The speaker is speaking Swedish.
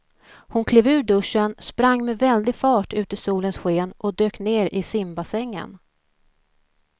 Hon klev ur duschen, sprang med väldig fart ut i solens sken och dök ner i simbassängen.